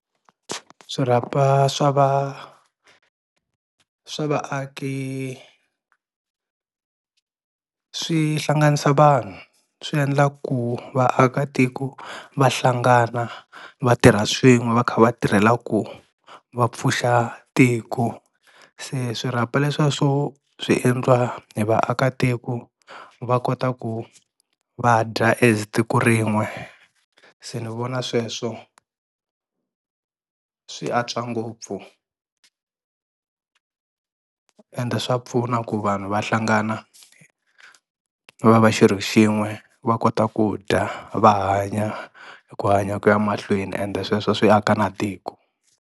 Swirhapa swa va swa vaaki swi hlanganisa vanhu, swi endla ku vaakatiko va hlangana va tirha swin'we va kha va tirhela ku va pfuxa tiko, se swirhapa leswiya swo swi endliwa hi vaakatiko va kota ku vadya as tiko rin'we, se ni vona sweswo swi antswa ngopfu ende swa pfuna ku vanhu va hlangana va va xirho xin'we va kota ku dya va hanya ku hanya kuya mahlweni ende sweswo swi aka na tiko.